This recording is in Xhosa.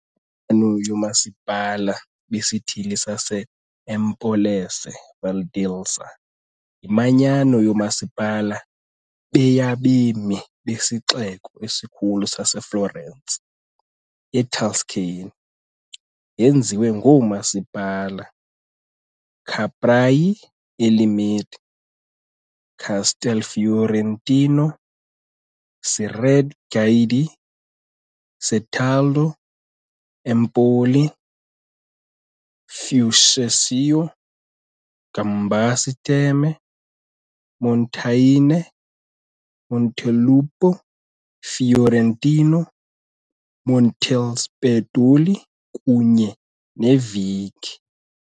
IManyano yooMasipala beSithili sase-Empolese Valdelsa yimanyano yoomasipala be yabemi besixeko esikhulu saseFlorence, eTuscany. Yenziwe ngoomasipala- Capraia e Limite, Castelfiorentino, Cerreto Guidi, Certaldo, Empoli, Fucecchio, Gambassi Terme, Montaione, Montelupo Fiorentino, Montespertoli kunye Vinci.